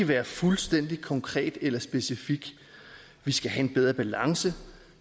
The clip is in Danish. være fuldstændig konkret eller specifik vi skal have en bedre balance